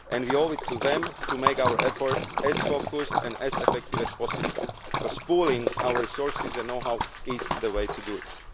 We owe it to them to make our efforts as focused and as effective as possible because pooling our resources and know how is the way to do